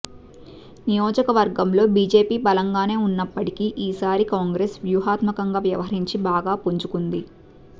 నియోజకవర్గంలో బీజేపీ బలంగానే ఉన్నప్పటికీ ఈసారి కాంగ్రెస్ వ్యూహాత్మంగా వ్యవహరించి బాగా పుంజుకుంది